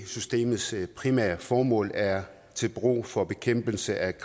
systemets primære formål er til brug for bekæmpelse af